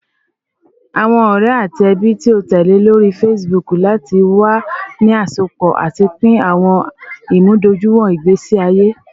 Awọn ọrẹ ati ẹbi ti o tẹle lori Facebook lati wa ni asopọ ati pin awọn imudojuiwọn igbesi aye